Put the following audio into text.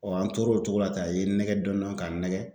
an tor'o cogo la ten a ye n nɛgɛ dɔn dɔn k'a n nɛgɛ